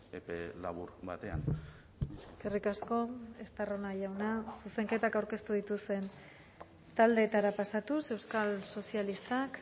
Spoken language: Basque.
epe labur batean eskerrik asko estarrona jauna zuzenketak aurkeztu dituzten taldeetara pasatuz euskal sozialistak